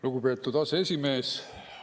Lugupeetud aseesimees!